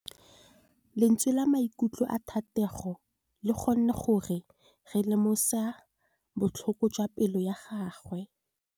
Lentswe la maikutlo a Thategô le kgonne gore re lemosa botlhoko jwa pelô ya gagwe.